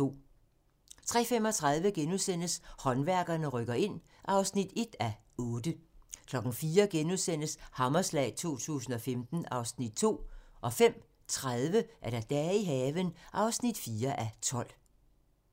03:35: Håndværkerne rykker ind (1:8)* 04:00: Hammerslag 2015 (Afs. 2)* 05:30: Dage i haven (4:12)